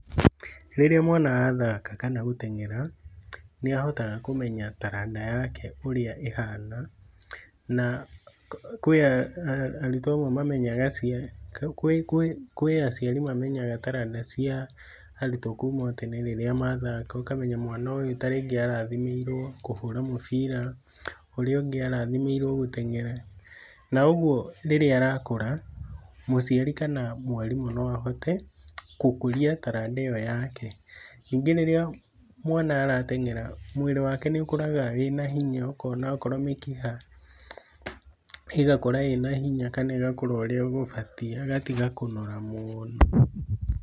Rĩrĩa mwana athaka kana gũteng'era nĩahotaga kũmenya taranda yake ũrĩa ĩhana. Na kwĩ arutwo amwe mamenyaga kwĩ kwĩ aciari amwe mamenyaga taranda cia arutwo kuma tene rĩrĩa mathaka ũkamenya mwana ũyũ tarĩngĩ arathimĩirwo kũhũra mĩbira, ũrĩa ũngĩ arathimĩirwo kũhũra mĩbira. Naũguo rĩrĩa arakũra, mũciari kana mwarimũ noahote gũkũria taranda ĩo yake. Nyingĩ rĩrĩa mwana arateng'era mwĩrĩ wake nĩũkũraga wĩna hinya , ũkona okorwo mĩkiha ĩgakũra ĩnahinya kana ĩgakũra ũrĩa ĩbatiĩ agatiga kũnora mũno.